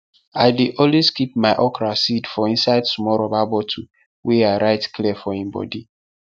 i dey always keep my okra seed for inside small rubber bottle wey i write clear for im bodi